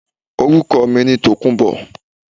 Orúkọ mi ni Tòkunbọ̀